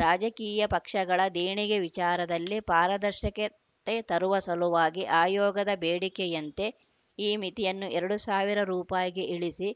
ರಾಜಕೀಯ ಪಕ್ಷಗಳ ದೇಣಿಗೆ ವಿಚಾರದಲ್ಲಿ ಪಾರದರ್ಶಕತೆ ತರುವ ಸಲುವಾಗಿ ಆಯೋಗದ ಬೇಡಿಕೆಯಂತೆ ಈ ಮಿತಿಯನ್ನು ಎರಡು ಸಾವಿರ ರೂಪಾಯಿಗೆ ಇಳಿಸಿ